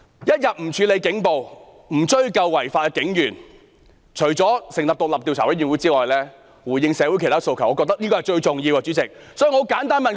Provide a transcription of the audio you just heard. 一天不處理警暴，不追究違法的警員，除了成立獨立調查委員會之外，主席，我覺得要回應社會訴求，這是最重要的。